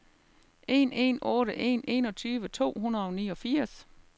en en otte en enogtyve to hundrede og niogfirs